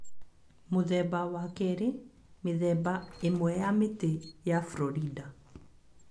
Mũthemba wa kerĩ. Mĩthemba Ĩmwe ya Mĩtĩ ya Florida